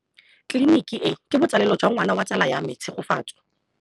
Tleliniki e, ke botsalêlô jwa ngwana wa tsala ya me Tshegofatso.